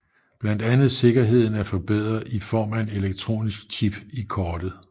Blandt andet sikkerheden er forbedret i form af en elektronisk chip i kortet